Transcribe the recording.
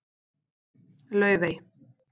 Laufey